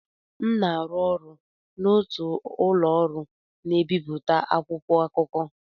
M na-arụ ọrụ n'otu ụlọ ọrụ na-ebipụta akwụkwọ akụkọ.